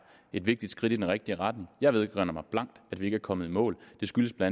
et vigtigt skridt i den rigtige retning jeg vedkender mig blankt at vi ikke er kommet i mål og det skyldes bla